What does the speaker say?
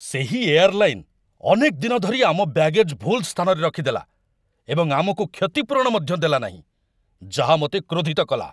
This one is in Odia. ସେହି ଏୟାର୍‌ଲାଇନ୍‌‌ ଅନେକ ଦିନ ଧରି ଆମ ବ୍ୟାଗେଜ୍ ଭୁଲ୍ ସ୍ଥାନରେ ରଖିଦେଲା ଏବଂ ଆମକୁ କ୍ଷତିପୂରଣ ମଧ୍ୟ ଦେଲା ନାହିଁ, ଯାହା ମୋତେ କ୍ରୋଧିତ କଲା